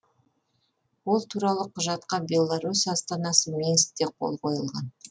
ол туралы құжатқа беларусь астанасы минскте қол қойылған